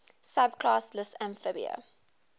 subclass lissamphibia